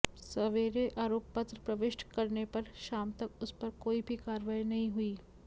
सवेरे आरोपपत्र प्रविष्ट करनेपर शामतक उसपर कोई भी कार्यवाही नहीं हुई